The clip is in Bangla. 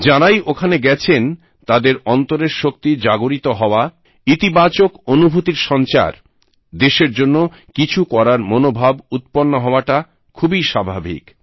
যারাই ওখানে গেছেন তাদের অন্তরের শক্তি জাগরিত হওয়া ইতিবাচক অনুভূতির সঞ্চার দেশের জন্য কিছু করার মনোভাব উত্পন্ন হওয়াটা খুবই স্বাভাবিক